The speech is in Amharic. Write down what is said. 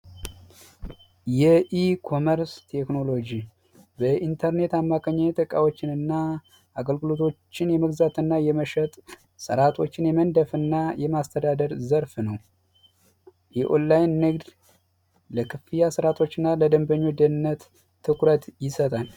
የኢኮሜርስ ቴክኖሎጂ በኢንተርኔት አማካይነት እቃዎችንና አገልግሎቶችን የመግዛትና የመሸጥ ሥርዓቶችን የመንደፍ እና የማስተዳደር ዘርፍ ነው። የኦንላይን ንግድ ለክፍያ ስርአቶች እና ለደንበኞች ደህንነት ትኩረት ይሰጣል።